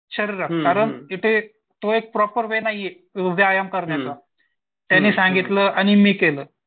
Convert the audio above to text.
शरीरात कारण तिथे तो एक प्रॉपर वे नाहीये व्यायाम करण्याचा. त्याने सांगितलं आणि मी केलं.